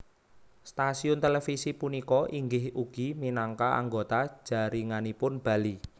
Stasiun televisi punika inggih ugi minangka anggota jaringanipun Bali